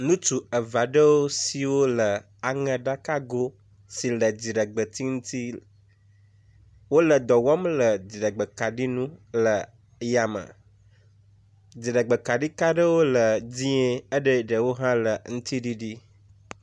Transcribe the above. Nutsu eveaɖewo siwó le aŋeɖakago si le dziɖegbetsi ŋtsi, wóle dɔwɔm le dziɖegbekaɖi nu le yame, dziɖegbekaɖikaɖewo le dzĩe eɖɛ ɖewohã le ŋtiɖiɖi